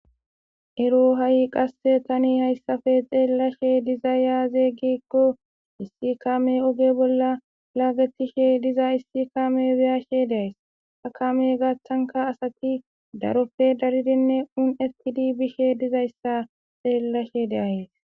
ero ha'i qasse tani hayssafe xeellashe diza aaze gikko issi kame oge bolla laagetishe diza issi kame beyashe de'ayis ta kame gathanka asati daroppe daridinne un'ettidi bishe dizayssa xeellashe de'ayis